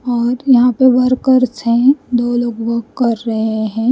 और यहां पे वर्कर्स है दो लोग वर्क कर रहे हैं।